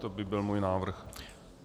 To by byl můj návrh.